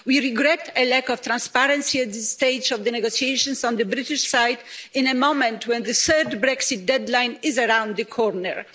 We regret the lack of transparency at this stage of the negotiations on the British side in a moment when the third Brexit deadline is around the corner.